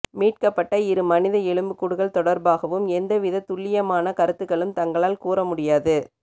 மீட்கப்பட்ட இரு மனித எலும்புக்கூடுகள் தொடர்பாகவும் எந்த வித துல்லியமான கருத்துக்களும் தங்களால் கூற முடியாது